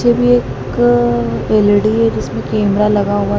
जब ये एक एल_ई_डी हैं जिसमें कैमरा लगा हुआ--